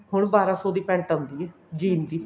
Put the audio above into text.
ਹੁਣ ਬਾਰਾਂ ਸੋ ਦੀ pent ਆਉਂਦੀ ਹੈ jean ਦੀ